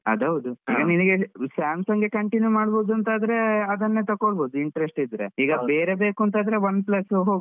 ಅದು ಹೌದು. samsung ಎ continue ಮಾಡ್ಬಹುದು ಅಂತಾದ್ರೆ ಅದನ್ನೇ ತೊಗೋಬಹದು. Interest ಇದ್ರೆ ಇಲ್ಲ ಬೇರೆ ಬೇಕು ಅಂತಾದ್ರೆ Oneplus ಗೆ ಹೋಗ್ಬಹುದು.